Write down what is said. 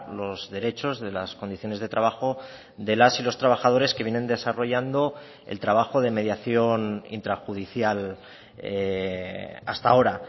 los derechos de las condiciones de trabajo de las y los trabajadores que vienen desarrollando el trabajo de mediación intrajudicial hasta ahora